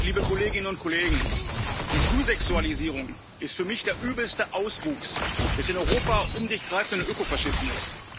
Herr Präsident, liebe Kolleginnen und Kollegen! Die Frühsexualisierung ist für mich der übelste Auswuchs des in Europa um sich greifenden Ökofaschismus.